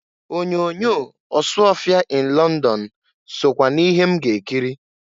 Onyoonyo Ọsụọfịa in Lọndọn sokwa n'ihe m ga-ekiri.